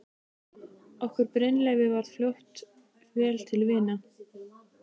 Okkur Brynleifi varð fljótlega vel til vina.